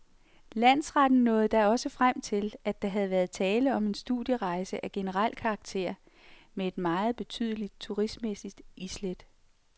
Landsretten nåede da også frem til, at der havde været tale om en studierejse af generel karakter med et meget betydeligt turistmæssigt islæt.